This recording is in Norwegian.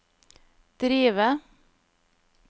drive